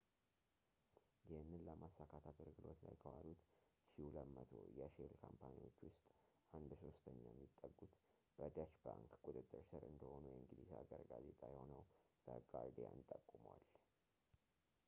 ይህንን ለማሳካት አገልግሎት ላይ ከዋሉት 1200 የሼል ካምፓኒዎች ውስጥ አንድ ሶስተኛ የሚጠጉት በdeutsche bank ቁጥጥር ስር እንደሆኑ የእንግሊዝ ሀገር ጋዜጣ የሆነው the guardian ጠቁሟል